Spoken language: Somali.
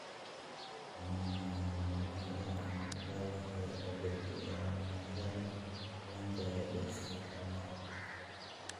Waa maxay calamadaha iyo calamadaha la xidhiidha ganglioma-yada dhallaanka ee desmoplastic?